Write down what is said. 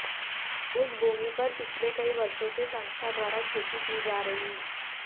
उस भूमि पर पिछले कई वर्षों से संस्था द्वारा खेती की जा रही है